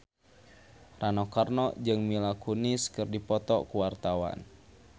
Rano Karno jeung Mila Kunis keur dipoto ku wartawan